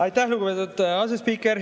Aitäh, lugupeetud asespiiker!